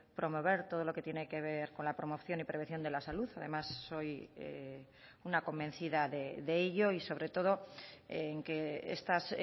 promover todo lo que tiene que ver con la promoción y prevención de la salud además soy una convencida de ello y sobre todo en que estas